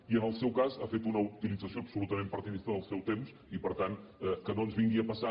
i en el seu cas ha fet una utilització absolutament partidista del seu temps i per tant que no ens vingui a passar